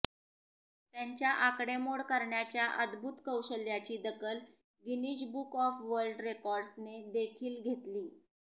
त्यांच्या आकडेमोड करण्याच्या अद्भुत कौशल्याची दखल गिनीज बुक ऑफ वर्ल्ड रेकॉर्ड्सने देखील घेतली